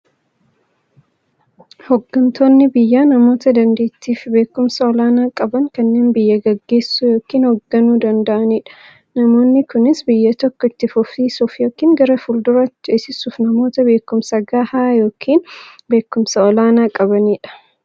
Hooggantoonni biyyaa namoota daanteettiifi beekumsa olaanaa qaban, kanneen biyya gaggeessuu yookiin hoogganuu danda'aniidha. Namoonni kunis, biyya tokko itti fufsiisuuf yookiin gara fuulduraatti ceesisuuf, namoota beekumsa gahaa yookiin beekumsa olaanaa qabaniidha.